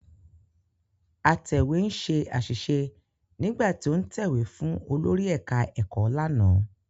Atẹ̀wé ṣe àṣìṣe nígbà tí ó ń tẹ̀wé fún olórí ẹ̀ká ẹ̀kọ́ lánàá